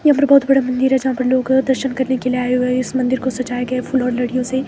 यहां पर बहुत बड़ा मंदिर है यहां पर लोग दर्शन करने के लिए आय हुए है इस मंदिर को सजाया गया है फूलों और लड़ियों से।